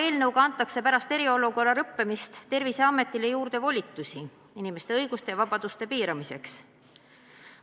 Eelnõuga antakse pärast eriolukorra lõppemist Terviseametile juurde volitusi inimeste õiguste ja vabaduste piiramiseks.